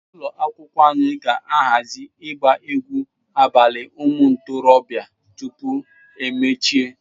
Ụlọ akwụkwọ anyị ga-ahazi ịgba egwu abalị ụmụ ntorobịa tupu emechie.